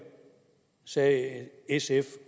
sagde sf